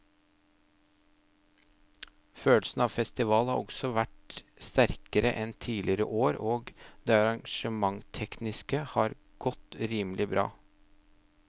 Følelsen av festival har også vært sterkere enn tidligere år og det arrangementstekniske har godt rimelig bra.